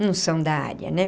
Não são da área, né?